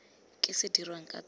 ka se dirweng ka tsona